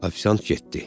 Ofisiant getdi.